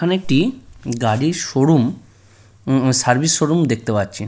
এইখানে একটি গাড়ির শোরুম উম সার্ভিস শোরুম দেখতে পাচ্ছি।